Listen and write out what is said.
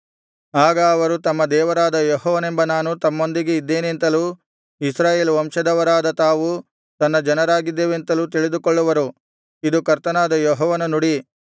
ಆಗ ಅವರು ತಮ್ಮ ದೇವರಾದ ಯೆಹೋವನೆಂಬ ನಾನು ತಮ್ಮೊಂದಿಗೆ ಇದ್ದೇನೆಂತಲೂ ಇಸ್ರಾಯೇಲ್ ವಂಶದವರಾದ ತಾವು ತನ್ನ ಜನರಾಗಿದ್ದೇವೆಂತಲೂ ತಿಳಿದುಕೊಳ್ಳುವರು ಇದು ಕರ್ತನಾದ ಯೆಹೋವನ ನುಡಿ